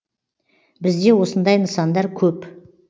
бізде осындай нысандар көп